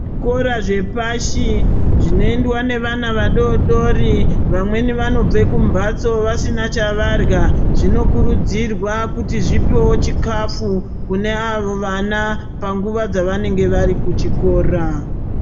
Zvikora zvepashi zvinoendwa nevana vadodori, vamweni vanobve kumbatso vasina chavarya. Zvinokurudzirwa kuti zvipewo chikafu kuavo vana panguva dzavanenge vari kuchikora.